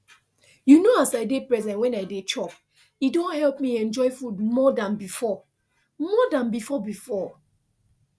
you know as i dey present wen i dey chop e don help me enjoy food more than before more than before before